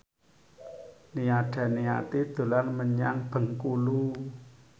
Nia Daniati dolan menyang Bengkulu